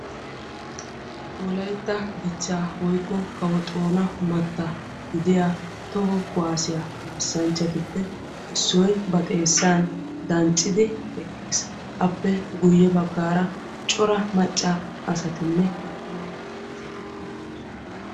Wolaytta dichcha toho kuwassaiy kaassanchchay issoy ba xeessa dancciddi eqqiis. Appe guye bagan cora maca asatti de'osonna.